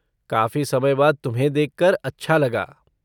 काफ़ी समय बाद तुम्हें देखकर अच्छा लगा।